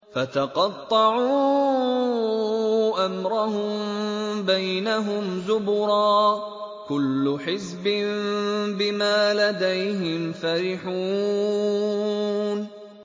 فَتَقَطَّعُوا أَمْرَهُم بَيْنَهُمْ زُبُرًا ۖ كُلُّ حِزْبٍ بِمَا لَدَيْهِمْ فَرِحُونَ